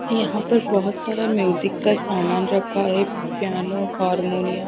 यहां पर बहोत सारा म्यूजिक का सामान रखा है। Piano harmonium --